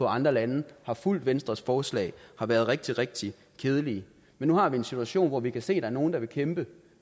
andre lande der har fulgt venstres forslag har været rigtig rigtig kedelige men nu har vi en situation hvor vi kan se er nogle der vil kæmpe